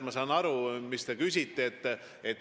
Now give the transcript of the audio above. Ma saan aru, mis te küsite.